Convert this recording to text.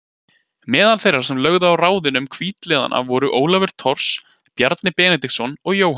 Meðal þeirra sem lögðu á ráðin um hvítliðana voru Ólafur Thors, Bjarni Benediktsson og Jóhann